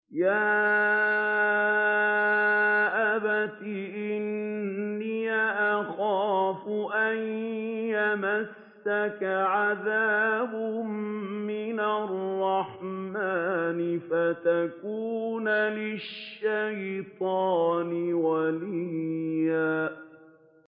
يَا أَبَتِ إِنِّي أَخَافُ أَن يَمَسَّكَ عَذَابٌ مِّنَ الرَّحْمَٰنِ فَتَكُونَ لِلشَّيْطَانِ وَلِيًّا